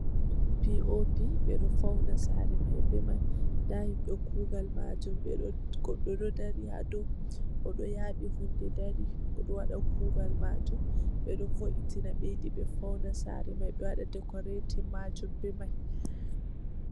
P.O.P, be ɗo fauna saare mai be mai. Nda himɓe kugal maajum ɓe ɗo... goɗɗo ɗo dari ha dou, o ɗo yaaɓi hunde dari, o ɗo waɗa kuugal maajum. Ɓe ɗo vo'itina ɓe yiɗi ɓe fauna saare mai, be wada dekoretin maajum be mai.